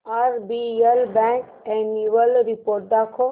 RBL bank annual report दाखव